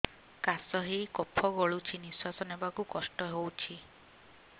କାଶ ହେଇ କଫ ଗଳୁଛି ନିଶ୍ୱାସ ନେବାକୁ କଷ୍ଟ ହଉଛି